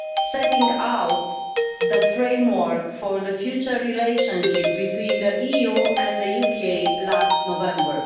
setting out the framework for the future relationship between the EU and the UK last November.